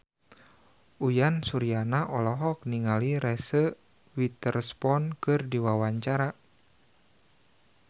Uyan Suryana olohok ningali Reese Witherspoon keur diwawancara